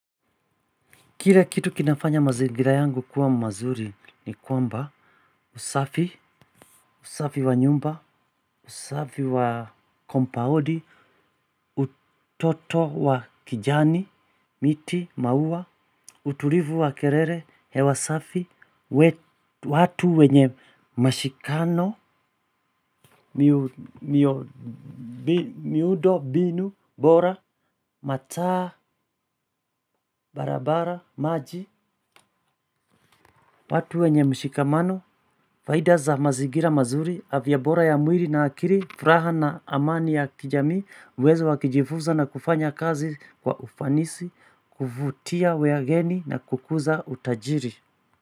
Kile kitu kinafanya mazigira yangu kuwa mazuri ni kwamba usafi, usafi wa nyumba, usafi wa kompaundi utoto wa kijani, miti, maua, utulivu wa kelele, hewasafi watu wenye mashikano, miundombinu bora, mataa, barabara, maji watu wenye mshikamano, faida za mazingira mazuri, afya bora ya mwilii na akili, furaha na amani ya kijamii, uwezo wakujifunza na kufanya kazi kwa ufanisi, kuvutia wageni na kukuza utajiri.